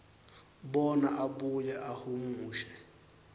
bona abuye ahumushe